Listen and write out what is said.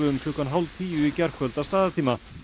um klukkan hálftíu í gærkvöld að staðartíma